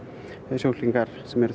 sjúklingar sem eru